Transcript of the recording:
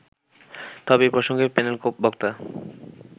তবে এ প্রসঙ্গে প্যানেল বক্তা